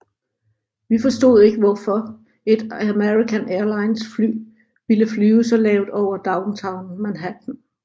Vi forstod ikke hvorfor et American Airlines fly ville flyve så lavt over downtown Manhattan